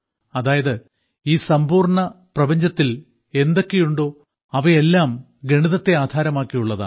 അതായത് ഈ സമ്പൂർണ്ണ പ്രപഞ്ചത്തിൽ എന്തൊക്കെയുണ്ടോ അവയെല്ലാം ഗണിതത്തെ ആധാരമാക്കിയുള്ളതാണ്